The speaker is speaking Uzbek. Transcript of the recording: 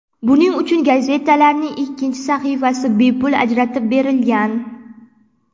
Buning uchun gazetalarning ikkinchi sahifasi bepul ajratib berilgan.